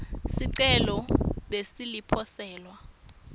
sicelo bese liposelwa